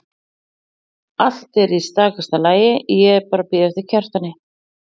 Allt er í stakasta lagi, ég er bara að bíða eftir Kjartani.